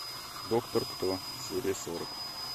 доктор кто серия сорок